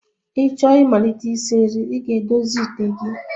Ị chọọ imalite isi nri, ị ga-edozi ite gị